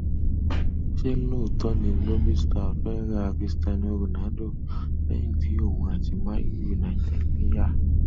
ṣé lóòtọ ni lobi stars fẹ ra christiano ronaldo lẹyìn tí òun àti man united pínyà